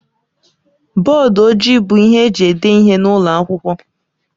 Bọdụ ojii bụ ihe eji ede ihe n'ụlọ akwụkwọ.